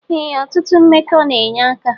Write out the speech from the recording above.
Ee otutụ mmekọ na enye aka.